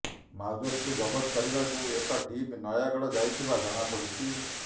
Mauser କୁ ଜବତ କରିବାକୁ ଏକ ଟିମ ନୟାଗଡ଼ ଯାଇଥିବା ଜଣା ପଡିଛି